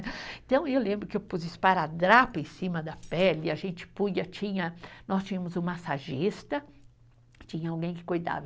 Então, eu lembro que eu pus esparadrapo em cima da pele, a gente punha, tinha, nós tínhamos um massagista, tinha alguém que cuidava.